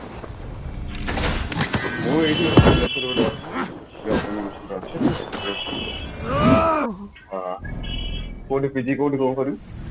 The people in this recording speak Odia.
ମୁଁ ଏଇଠି ଗୋଟେ ଭୁବନେଶ୍ବରରେ ଗୋଟେ ଅଛି କୋଉଠି PG କୋଉଠି କଣ କରିବୁ